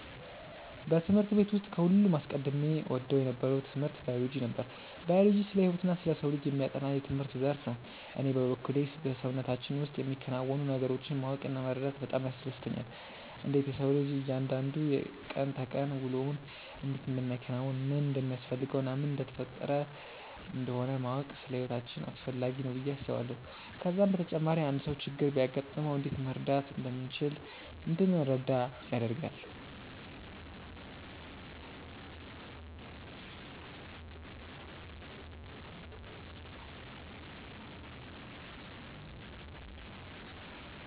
በትምህርት ቤት ውስጥ ከሁሉም አስቀድሜ እወደው የነበረው ትምህርት ባዮሎጂ ነበር። ባዮሎጂ ስለ ህይወትና ስለ ሰው ልጅ የሚያጠና የትምህርት ዘርፍ ነው። እኔ በበኩሌ በሰውነታችን ውስጥ የሚከናወኑ ነገሮችን ማወቅ እና መረዳት በጣም ያስደስተኛል። እንዴት የሰው ልጅ እያንዳንዱ የቀን ተቀን ውሎውን እንዴት እንደሚያከናውን፣ ምን እንደሚያስፈልገው እና ምን እየተፈጠረ እንደሆነ ማወቅ ለህይወታችን አስፈላጊ ነው ብዬ አስባለሁ። ከዛም በተጨማሪ አንድ ሰው ችግር ቢያጋጥመው እንዴት መርዳት እንደምንችል እንድንረዳ ያደርጋል።